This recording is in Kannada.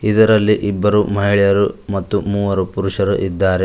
ಇದರಲ್ಲಿ ಇಬ್ಬರು ಮಹಿಳೆಯರು ಮತ್ತು ಮೂವರು ಪುರುಷರು ಇದ್ದಾರೆ.